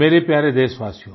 मेरे प्यारे देशवासियो